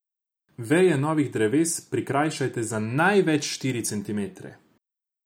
Veje novih dreves prikrajšate za največ štiri centimetre.